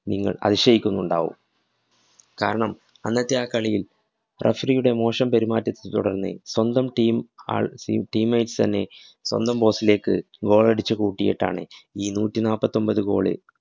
നിങ്ങള്‍ അതിശയിക്കുന്നുണ്ടാകും. കാരണം അന്നത്തെ ആ കളിയില്‍ referee യുടെ മോശം പെരുമാറ്റത്തെ തുടര്‍ന്ന്, സ്വന്തം team ആള്‍ teammates തന്നെ സ്വന്തം post ലേക്ക് goal അടിച്ചു കൂട്ടിയിട്ടാണ് ഈ നൂറ്റിനാപ്പൊത്തൊന്‍പത് goal ള്